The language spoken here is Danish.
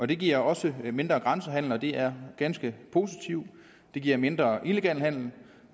det giver også mindre grænsehandel og det er ganske positivt det giver mindre illegal handel